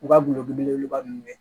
U ka gulɔ belebeleba ninnu